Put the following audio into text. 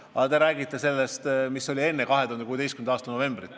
Aga te räägite seisust, mis oli enne 2016. aasta novembrit.